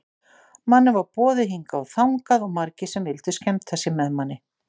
Manni var boðið hingað og þangað og margir sem vildu skemmta sér með manni.